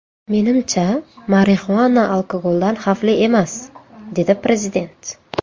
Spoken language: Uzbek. Menimcha, marixuana alkogoldan xavfli emas”, dedi prezident.